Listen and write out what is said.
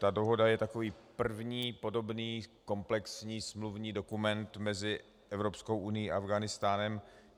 Ta dohoda je takový první podobný komplexní smluvní dokument mezi Evropskou unií a Afghánistánem.